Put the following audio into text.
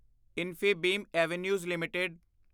Infibeam Avenues LTD